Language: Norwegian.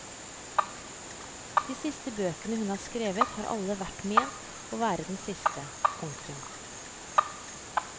De siste bøkene hun har skrevet har alle vært ment å være den siste. punktum